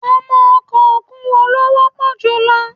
Àwọn ọkọ̀ òkun wo ló wọ́pọ̀ jù lọ?